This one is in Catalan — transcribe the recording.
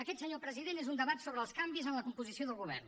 aquest senyor president és un debat sobre els canvis en la composició del govern